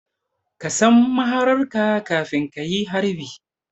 Ka san mahararka kafin ka yi harbi